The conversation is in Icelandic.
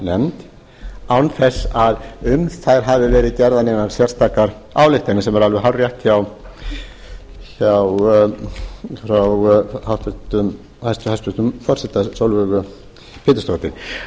fjárlaganefnd án þess að um þær hafi verið gerðar neinar sérstakar ályktanir sem er alveg hárrétt hjá hæstvirtum forseta sólveigu pétursdóttur það er alveg hárrétt það er